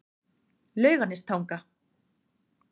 Laugarnestanga